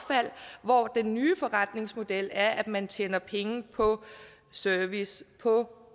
hvor den nye forretningsmodel er at man tjener penge på service på